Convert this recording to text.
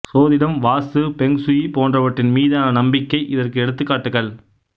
சோதிடம் vastu feng shui போன்றவற்றின் மீதான நம்பிக்கை இதற்கு எடுத்துக்காட்டுக்கள்